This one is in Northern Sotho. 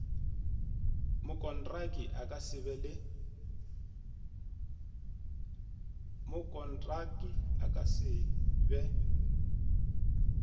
mokontraki a ka se be